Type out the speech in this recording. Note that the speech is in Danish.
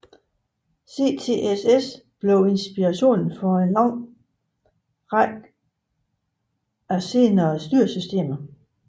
CTSS blev inspiration for en lang række senere styresystemer